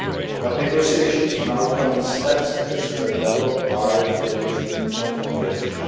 But negotiations on our common steps at expert level are, to date, not finished.